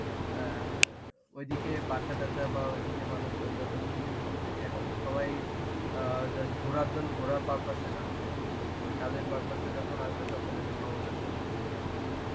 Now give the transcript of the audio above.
অ্যাঁ ঐদিকে বাসা টাসা বাহঃ ঐদিকে মানুষজন যখন ভিড় হবে এখন তো সবাই অ্যাঁ just ঘোরার জন্য ঘোরার purpose এ যাচ্ছে. কাজের purpose এ যখন আসবে তখন এটা সমতায় চলে আসবে.